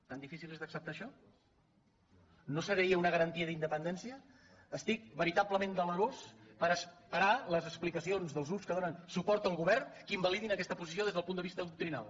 tan difícil és d’acceptar això no seria una garantia d’independència estic verita·blement delerós per esperar les explicacions dels grups que donen suport al govern que invalidin aquesta po·sició des del punt de vista doctrinal